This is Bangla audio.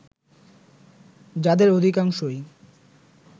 যাদের অধিকাংশই